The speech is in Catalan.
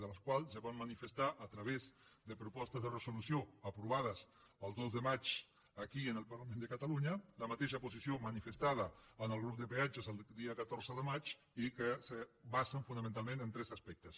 de les quals ja vam manifestar a través de propostes de resolució aprovades el dos de maig aquí en el parlament de catalunya la mateixa posició manifestada en el grup de peatges el dia catorze de maig i que es basen fonamentalment en tres aspectes